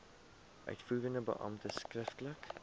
uitvoerende beampte skriftelik